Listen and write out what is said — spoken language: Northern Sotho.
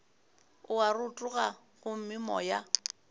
o a rotoga gomme moya